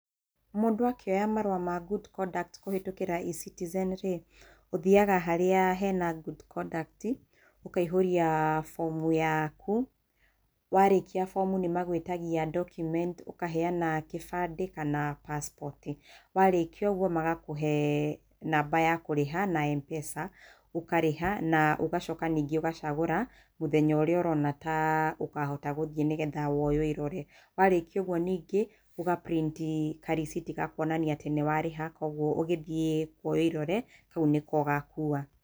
Mũndũ akĩoya marũa ma good conduct kũhĩtũkĩra E-Citizen rĩ, ũthiaga harĩa hena good conduct ũkaihũria bomu yaku, warĩkia bomu nĩmagwĩtagia document ũkaheana kĩbandĩ kana passport warĩkia ũguo magakũhe naba ya kũrĩha na M-pesa ũkarĩha na ũgacoka ningĩ ugacagũra mũthenya ũrĩa ũrona ta ũgĩhota gũthiĩ nĩngetha we ũwĩrorere warĩkia ũguo ningĩ ũga print karĩthiti ga kuonania atĩ nĩ warĩha koguo ũgĩthie kuoywo ĩrore, kau nĩko ũgakua.